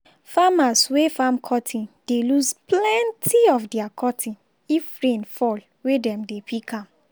farmers wey farm cotton dey lose plenti of their cotton if rain fall wen dem dey pick am.